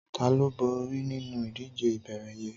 Tàló bóri ninú idijé ìbééré yèn?